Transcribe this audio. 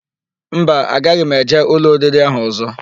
Mba, agaghị m eje ụlọ oriri ahụ ọ̀zọ́.